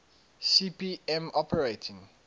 cp m operating